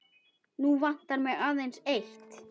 Nú vantar mig aðeins eitt!